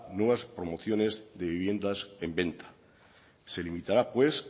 nuevas promociones de viviendas en venta se limitará